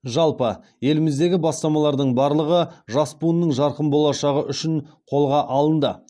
жалпы еліміздегі бастамалардың барлығы жас буынның жарқын болашағы үшін қолға алынды